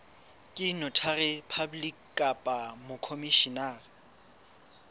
ke notary public kapa mokhomishenara